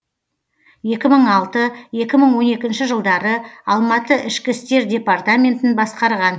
екі мың алты екі мың он екінші жылдары алматы ішкі істер департаментін басқарған